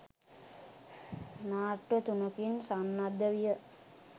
නාට්‍ය තුනකින් සන්නද්ධ විය